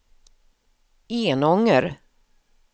Enånger